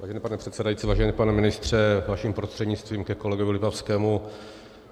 Vážený pane předsedající, vážený pane ministře, vaším prostřednictvím ke kolegovi Lipavskému.